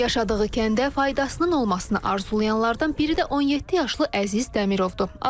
Yaşadığı kəndə faydasının olmasına arzulayanlardan biri də 17 yaşlı Əziz Dəmirovdur.